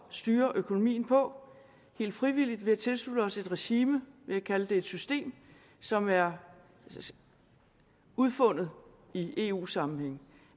styre økonomien på helt frivilligt ved at tilslutte os et regime vi kan kalde det et system som er udfundet i eu sammenhæng